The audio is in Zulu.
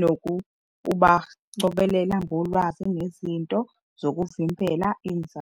nokubacobelela ngolwazi ngezinto zokuvimbela inzalo.